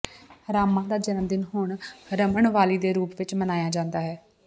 ਰਾਮਾ ਦਾ ਜਨਮਦਿਨ ਹੁਣ ਰਮਨਵਾਲੀ ਦੇ ਰੂਪ ਵਿਚ ਮਨਾਇਆ ਜਾਂਦਾ ਹੈ